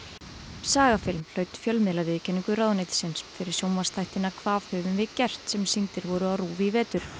sagafilm hlaut ráðuneytisins fyrir sjónvarpsþættina hvað höfum við gert sem sýndir voru á RÚV í vetur